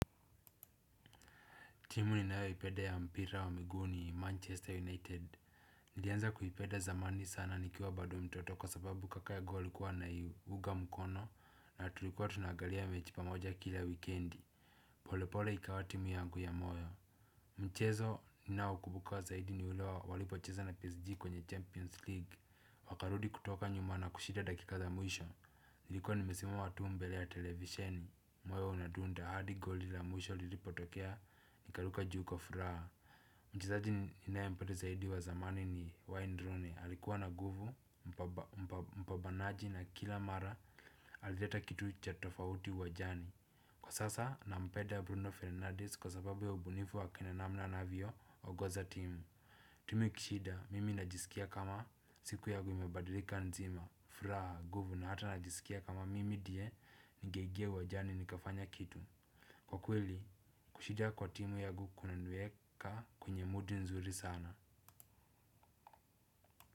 Timu ninayo ipenda ya mpira wa miguu ni manchester united. Nilianza kuipenda zamani sana nikiwa bado mtoto kwa sababu kaka yangu alikuwa ana iunga mkono na tulikuwa tuna angalia mechi pamoja kila wikiendi. Pole pole ikawa timu yangu ya moyo. Mchezo ni nao kumbuka zaidi ni ule walipo cheza na psg kwenye champions league wakarudi kutoka nyuma na kushinda dakika za mwisho. Nilikuwa nimesimama tu mbele ya televisheni. Moyo unadunda hadi goli la mwisho lilipotokea. Nikaruka juu kwa furaha. Mchezaji ninae mpenda zaidi wa zamani ni Wainierune alikuwa na nguvu. Mpambanaji na kila mara alileta kitu cha tofauti uwanjani. Kwa sasa nampenda Bruno Fernandez Kwa sababu ya ubunifu wake na namna anavyo ongoza timu. Timu ikishinda mimi najisikia kama siku yangu imebadilika nzima. Furaha nguvu na hata najisikia kama mimi ndie ningeingia uwanjani nikafanya kitu. Kwa kweli, kushinda kwa timu yangu kuna niweka kwenye mudi nzuri sana.